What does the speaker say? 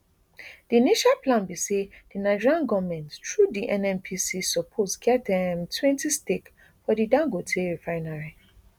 di initial plan be say di nigeria goment through di nnpc suppose get um twenty stake for di dangote refinery